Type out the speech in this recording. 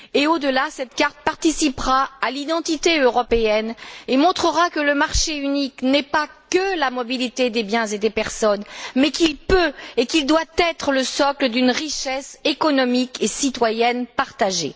Au delà, cette carte participera à l'identité européenne et montrera que le marché unique n'est pas que la mobilité des biens et des personnes, mais qu'il peut et doit être le socle d'une richesse économique et citoyenne partagée.